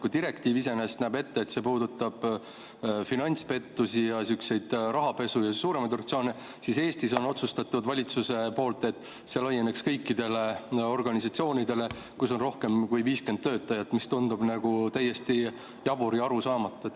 Kui direktiiv iseenesest näeb ette, et see puudutab finantspettusi ja rahapesu ja suuremaid organisatsioone, siis Eestis on otsustatud valitsuse poolt, et see laieneks kõikidele organisatsioonidele, kus on rohkem kui 50 töötajat, mis tundub täiesti jabur ja arusaamatu.